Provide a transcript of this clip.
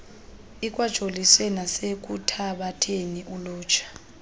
ikwajolise nasekuthabatheni ulutsha